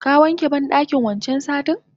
Ka wanke bandakin wancan satin?